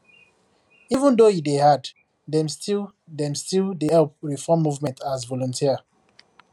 even though e dey hard dem still dem still dey help reform movement as volunteer